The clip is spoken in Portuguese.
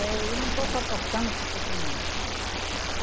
É, eu não estou suportando esse sofrimento.